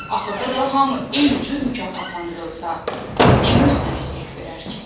Axırda da hamı eynicür mükafatlandırılsa, kim özünə əziyyət verər ki?